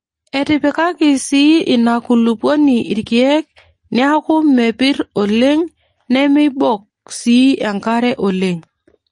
Etipikaki sii ina kulupuoni irkeek neeku mepirr oleng nemeibok sii enkare oleng.